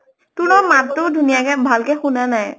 তোৰ নহত মাত্টো ধুনীয়াকে ভাল কে শুনা নাই।